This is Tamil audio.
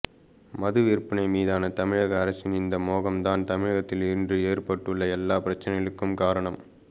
மது விற்பனை மீதான தமிழக அரசின் இந்த மோகம் தான் தமிழகத்தில் இன்று ஏற்பட்டுள்ள எல்லா பிரச்சனைகளுக்கும் காரணம்